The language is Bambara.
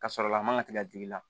Ka sɔrɔ a man ka tigɛ digi la